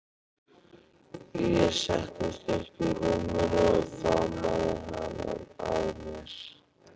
Ég settist upp í rúminu og faðmaði hana að mér.